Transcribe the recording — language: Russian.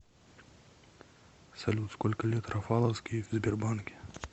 салют сколько лет рафаловский в сбербанке